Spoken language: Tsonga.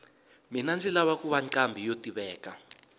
mina ndzi lava kuva nqambhi yo tiveka